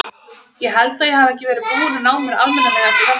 Ég held að ég hafi ekki verið búinn að ná mér almennilega eftir flensuna.